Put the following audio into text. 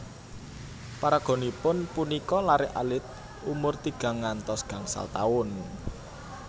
Paraganipun punika laré alit umur tigang ngantos gangsal taun